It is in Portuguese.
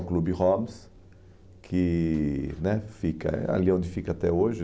o Clube Holmes, que né fica ali onde fica até hoje.